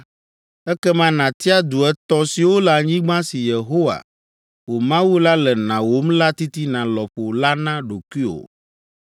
ekema nàtia du etɔ̃ siwo le anyigba si Yehowa, wò Mawu la le nàwom la titina lɔƒo la na ɖokuiwò.